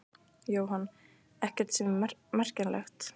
Jóhann: Ekkert sem er merkjanlegt?